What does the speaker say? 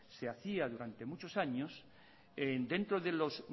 se hacía durante muchos años dentro de los